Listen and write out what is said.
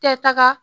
Tɛ taga